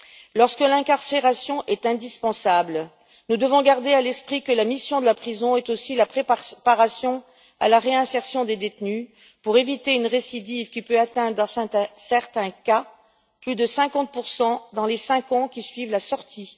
Lorsque l'incarcération est indispensable, nous devons garder à l'esprit que la mission de la prison est aussi la préparation à la réinsertion des détenus pour éviter une récidive qui, dans certains cas, peut atteindre plus de 50 dans les cinq ans qui suivent la sortie.